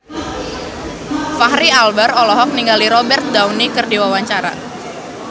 Fachri Albar olohok ningali Robert Downey keur diwawancara